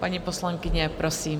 Paní poslankyně, prosím.